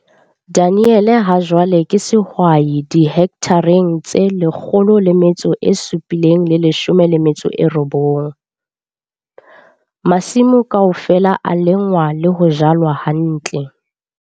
Daniel hajwale ke sehwai dihekthareng tse 709. Masimo kaofela a lengwa le ho jalwa hantle.